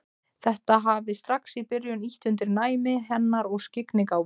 Þetta hafi strax í byrjun ýtt undir næmi hennar og skyggnigáfu.